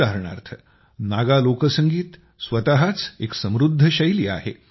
उदाहरणार्थ नागा लोकसंगीत स्वतःच एक समृद्ध शैली आहे